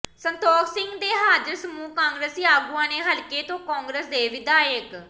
ਸੰਤੋਖ ਸਿੰਘ ਤੇ ਹਾਜ਼ਰ ਸਮੂਹ ਕਾਂਗਰਸੀ ਆਗੂਆਂ ਨੇ ਹਲਕੇ ਤੋਂ ਕਾਂਗਰਸ ਦੇ ਵਿਧਾਇਕ